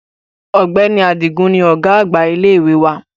Ọ̀gbẹ́ni Adigun ni ọ̀gá àgbà ilé ìwé wa